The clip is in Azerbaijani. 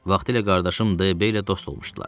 Vaxtilə qardaşım D.B ilə dost olmuşdular.